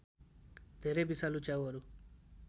धेरै विषालु च्याउहरू